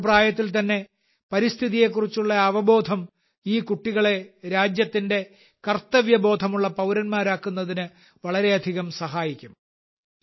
ചെറുപ്രായത്തിൽ തന്നെ പരിസ്ഥിതിയെ കുറിച്ചുള്ള ഈ അവബോധം ഈ കുട്ടികളെ രാജ്യത്തിന്റെ കർത്തവ്യബോധമുള്ള പൌരന്മാരാക്കുന്നതിന് വളരെയധികം സഹായിക്കും